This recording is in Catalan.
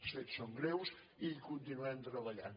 els fets són greus i hi continuem treballant